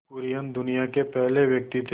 कुरियन दुनिया के पहले व्यक्ति थे